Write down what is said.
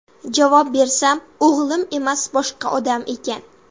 Javob bersam, o‘g‘lim emas, boshqa odam ekan.